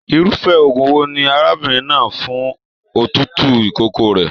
Irufẹ òògùn wò ní arábìnrin náà fún òtútù ìkókó rẹ?